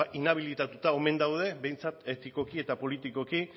inhabilitatuta omen daude behintzat etikoki eta politikoki